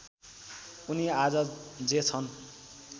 उनी आज जे छन्